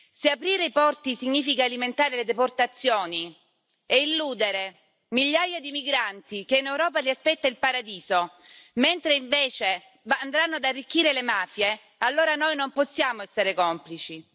Se aprire i porti significa alimentare le deportazioni e illudere migliaia di migranti che in Europa li aspetta il paradiso, mentre invece andranno ad arricchire le mafie, allora noi non possiamo essere complici.